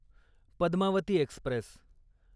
Padmavati Express